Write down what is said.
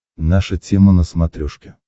наша тема на смотрешке